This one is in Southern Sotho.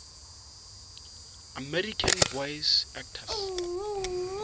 american voice actors